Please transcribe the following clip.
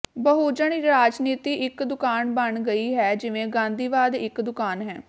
ਬਹੁਜਨ ਰਾਜਨੀਤੀ ਇੱਕ ਦੁਕਾਨ ਬਣ ਗਈ ਹੈ ਜਿਵੇਂ ਗਾਂਧੀਵਾਦ ਇੱਕ ਦੁਕਾਨ ਹੈ